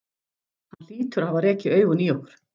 Hann hlýtur að hafa rekið augun í okkur.